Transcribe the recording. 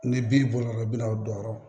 Ni bin bɔr'o la bi n'aw don yɔrɔ